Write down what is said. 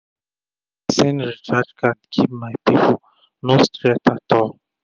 i dey send recharge card give my pipo no stress at all